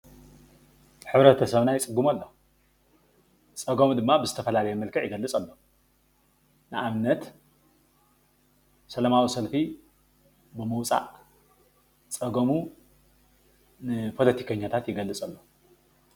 ሕብረተሰብና ፅቡቕ ኣሎ፡፡ ፀገሙ ድማ ብዝተፈላለየ መልክዕ ይገልፅ ኣሎ፡፡ ንኣብነት ሰላማዊ ሰልፊ ብምዉፃእ ፀገሙ ንፖለቲከኛታት ይገልፅ ኣሎ፡፡